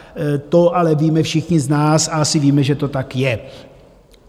To ale víme všichni z nás a asi víme, že to tak je.